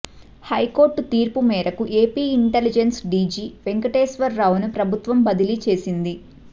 high court తీర్పు మేరకు AP intelligence DG వెంకటేశ్వరరావును ప్రభుత్వం బదిలీ చేసింది